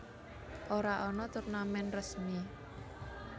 Ora ana turnamen resmi